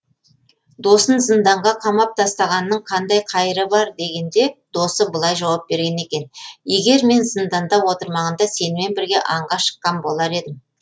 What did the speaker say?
досын зынданға қамап тастағанның қандай қайыры бар дегенде досы былай жауап берген екен егер мен зынданда отырмағанда сенімен бірге аңға шыққан болар едім